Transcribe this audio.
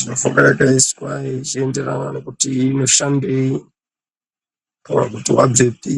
ndofunga yakaiswe ichienderana nekuti iyi inoshandeii kana kuti wabvepi.